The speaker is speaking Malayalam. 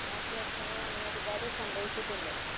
നാശ നഷ്ടങ്ങൾ അങ്ങനെ ഒരുപാട് സംഭവിച്ചിട്ടുണ്ട്